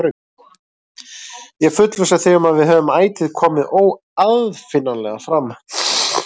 Ég fullvissa þig um að við höfum ætíð komið óaðfinnanlega fram.